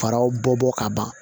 Faraw bɔ ka ban